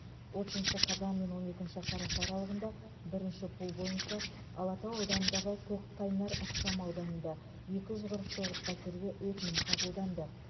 отызыншы қазан мен он екінші қараша аралығында бірінші пул бойынша алатау ауданындағы көкқайнар ықшамауданында екі жүз қырық тоғыз пәтерге өтінім қабылданды